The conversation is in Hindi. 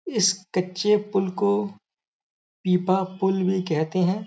इस कच्चे पूल को पीपा पूल भी कहते हैं।